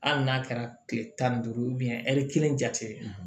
Hali n'a kɛra kile tan ni duuru ye ɛri kelen jate